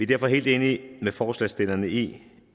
derfor helt enige med forslagsstillerne i